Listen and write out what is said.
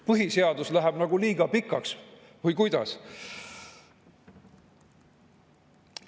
Põhiseadus läheb nagu liiga pikaks või kuidas?